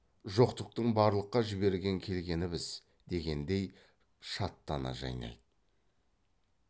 жоқтықтың барлыққа жіберген келгіні біз дегендей шаттана жайнайды